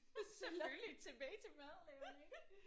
Selvfølgelig tilbage til madlavning